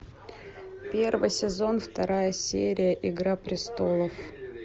первый сезон вторая серия игра престолов